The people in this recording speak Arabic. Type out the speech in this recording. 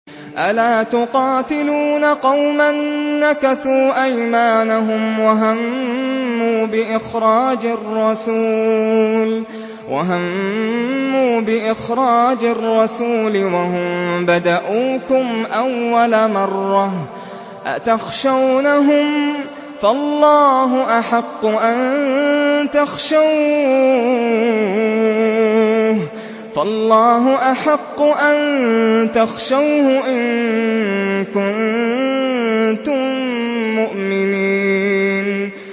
أَلَا تُقَاتِلُونَ قَوْمًا نَّكَثُوا أَيْمَانَهُمْ وَهَمُّوا بِإِخْرَاجِ الرَّسُولِ وَهُم بَدَءُوكُمْ أَوَّلَ مَرَّةٍ ۚ أَتَخْشَوْنَهُمْ ۚ فَاللَّهُ أَحَقُّ أَن تَخْشَوْهُ إِن كُنتُم مُّؤْمِنِينَ